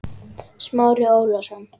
Smári Ólason.